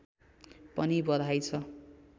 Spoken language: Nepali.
पनि बधाई छ